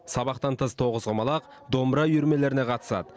сабақтан тыс тоғызқұмалақ домбыра үйірмелеріне қатысады